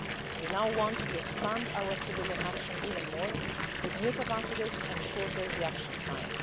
We now want to expand our civilian action even more, with new capacities and shorter reaction time.